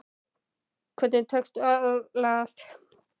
Hvernig tekst að aðlagast?